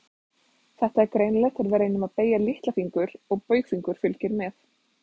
Þetta er greinilegt þegar við reynum að beygja litlafingur og baugfingur fylgir með.